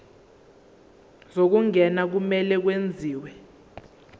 zokungena kumele kwenziwe